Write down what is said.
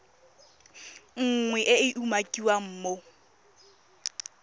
nngwe e e umakiwang mo